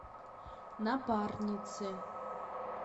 напарницы